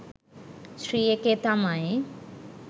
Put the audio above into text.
ශ්‍රී එකේ තමයි.